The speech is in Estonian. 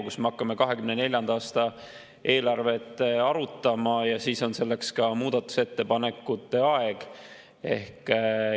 Kohe me hakkame 2024. aasta eelarvet arutama ja pärast seda on ka aega selle kohta muudatusettepanekuid teha.